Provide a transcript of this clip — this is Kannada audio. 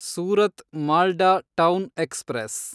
Surat Malda town express